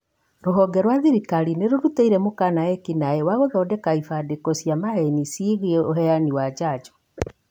Rũhonge rwa thirikari nĩrũrutĩire mũkana ekinaĩ wa gũthondeka ibandĩko cia maheni ciĩgiĩ ũheani wa njajo